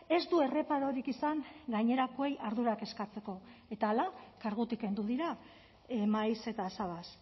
ez du erreparorik izan gainerakoei ardurak eskatzeko eta hala kargutik kendu dira maiz eta sabas